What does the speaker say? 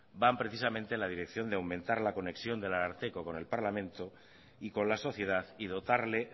van precisamente en la dirección de aumentar la conexión del ararteko con el parlamento y con la sociedad y dotarle